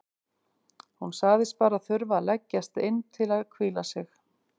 Hún sagðist bara þurfa að leggjast inn til að hvíla sig.